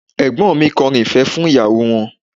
Ẹ̀gbọ́n mi kọrin ìfẹ́ fún ìyàwó wọn